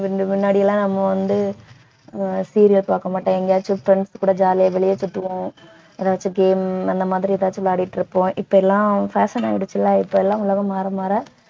முன்னாடி எல்லாம் நம்ம வந்து ஆஹ் serial பாக்க மாட்டோம் எங்கயாச்சும் friends கூட jolly ஆ வெளியே சுத்துவோம் எதாச்சும் game அந்த மாதிரி ஏதாச்சும் விளையாடிட்டு இருப்போம் இப்ப எல்லாம் fashion ஆயிடுச்சுல்ல இப்ப எல்லாம் உலகம் மாற மாற